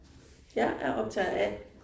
Jeg er optager A